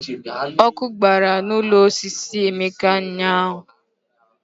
Ọkụ gbara n'ụlọ osisi Emeka ụnyahụ.